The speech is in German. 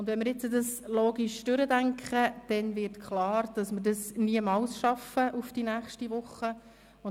Wenn man es logisch durchdenkt, wird klar, dass wir das niemals bis nächste Woche schaffen.